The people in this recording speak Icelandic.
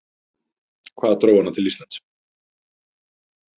En hvað dró hana til Íslands?